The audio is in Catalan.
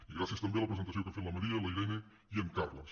i gràcies també a la presentació que han fet la maria la irene i en carles